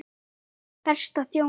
Báðir prestar þjóna.